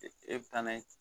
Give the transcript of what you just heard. E bɛ taa n'a ye